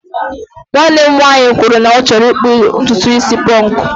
nwanne m nwanyị kwuru na ọ chọrọ ịkpụ ntutu isi ponku